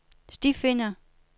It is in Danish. stifinder